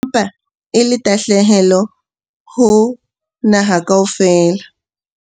Ke ka hona tahlehelo ya moqolosi a le mong feela wa ditaba eseng feela ya indasteri empa e le tahlehelo ho naha kaofela.